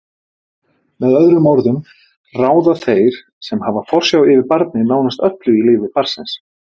Með öðrum orðum ráða þeir sem hafa forsjá yfir barni nánast öllu í lífi barnsins.